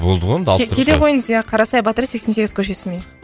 болды ғой енді алып тұрсыз ғой келе қойыңыз ия қарасай батыр сексен сегіз көшесіне